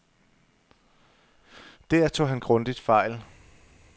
Der tog han grundigt fejl.